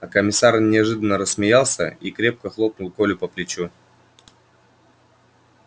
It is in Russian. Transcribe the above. а комиссар неожиданно рассмеялся и крепко хлопнул колю по плечу